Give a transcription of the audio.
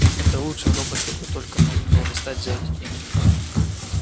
это лучший робот какой только можно было достать за деньги